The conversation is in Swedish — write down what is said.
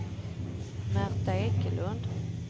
Märta Ekelund